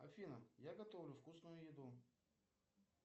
афина я готовлю вкусную еду